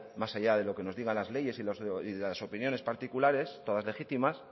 más allá de lo que nos digan las leyes y las opiniones particulares todas legítimas